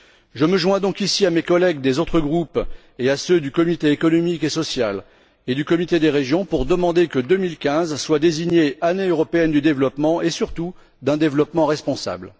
Je me joins donc, ici, à mes collègues des autres groupes et à ceux du Comité économique et social et du Comité des régions pour demander que 2015 soit désignée Année européenne du développement et, surtout, d'un développement responsable.